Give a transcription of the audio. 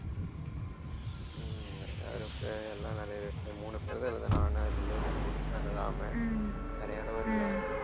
ஹம் எல்லாம் மூணு பேர்தான் இருந்தோம் நானு அருளு ராமு வேற யாரும் வரலை